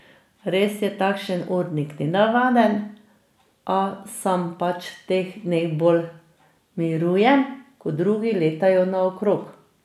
Res je takšen urnik nenavaden, a sam pač v teh dneh bolj mirujem, ko drugi letajo naokrog.